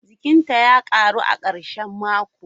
gindinta ya karu a karshen mako.